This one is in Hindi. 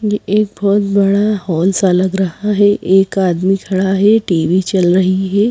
ये एक बहुत बड़ा हॉल सा लग रहा है एक आदमी खड़ा है टी_वी चल रही है।